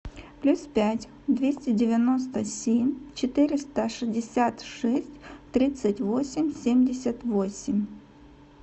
плюс пять двести девяносто семь четыреста шестьдесят шесть тридцать восемь семьдесят восемь